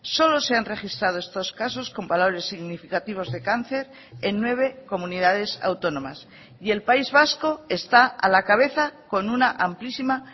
solo se han registrado estos casos comparables significativos de cáncer en nueve comunidades autónomas y el país vasco está a la cabeza con una amplísima